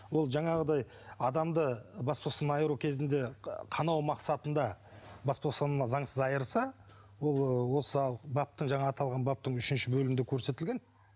ол жаңағыдай адамды бас бостандығынан айыру кезінде қанау мақсатында бас бостандығынан заңсыз айырса ол ы осы баптың жаңағы аталған баптың үшінші бөлімінде көрсетілген